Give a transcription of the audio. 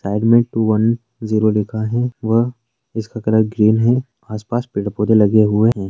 Side में two one zero लिखा है व इसका कलर ग्रीन है आस-पास पेड़ पौधे लगे हुए हैं।